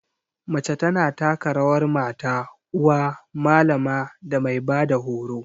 Mace ta na taka rawar mata, uwa, malama da mai ba da horo.